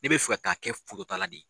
Ne be fɛ ka taa kɛ ta la de ye.